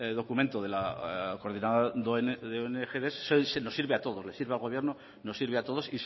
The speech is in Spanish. documento de la coordinadora de ong nos sirve a todos le sirve al gobierno nos sirve a todos